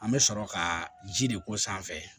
An bɛ sɔrɔ ka ji de k'o sanfɛ